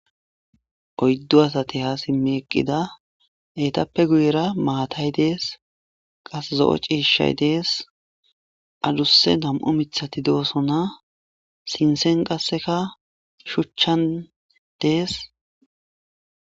Oydu asati ha simi eqida etape guye bagara maatay de'es kase zo'o c'iishay dees adusa nam'u mithati doosona sinthen qaseka shuchan dees.